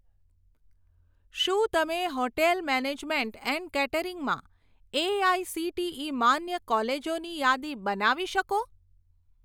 શું તમે hotel management and catering માં એઆઇસીટીઇ માન્ય કોલેજોની યાદી બનાવી શકો?